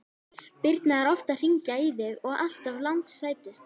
Birna er oft að hringja í þig og alltaf langsætust!